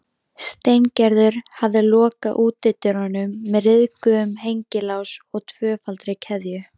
Steingerður hafði lokað útidyrunum með ryðguðum hengilás og tvöfaldri keðju.